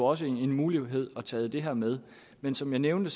også en mulighed at tage det her med men som jeg nævnte